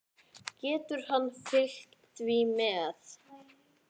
Getur hann fylgt því eftir?